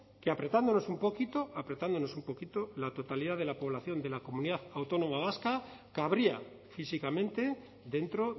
que apretándonos un poquito apretándonos un poquito la totalidad de la población de la comunidad autónoma vasca cabría físicamente dentro